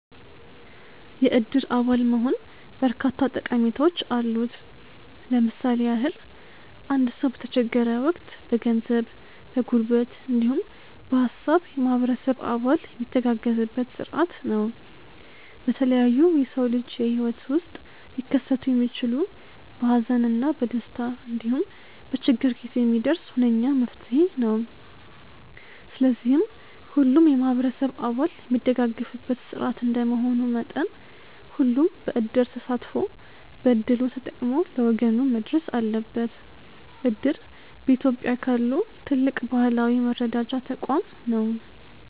የእድር አባል መሆን በርካታ ጠቀሜታዎች አሉት። ለምሳሌ ያህል አንድ ሰው በተቸገረ ወቅት በገንዘብ፣ በጉልበት እንዲሁም በሃሳብ የማህበረሰብ አባል የሚተጋገዝበት ስርዓት ነው። በተለያዩ የሰው ልጅ የህይወት ውስጥ ሊከሰቱ የሚችሉ በሀዘን እና በደስታ እንዲሁም በችግር ጊዜ የሚደርስ ሁነኛ መፍትሔ ነው። ስለዚህም ሁሉም የማህበረሰብ አባል የሚደጋገፍበት ስርዓት እንደመሆኑ መጠን ሁሉም በዕድር ተሳትፎ በእድሉ ተጠቅሞ ለወገኑ መድረስ አለበት። እድር በኢትዮጵያ ካሉ ትልቅ ባህላዊ የመረዳጃ ተቋም ነው።